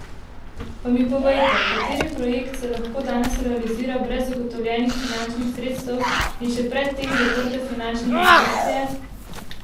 Pa mi povejte, kateri projekt se lahko danes realizira brez zagotovljenih finančnih sredstev in še pred tem zaprte finančne konstrukcije?